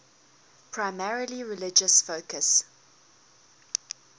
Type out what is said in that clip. primarily religious focus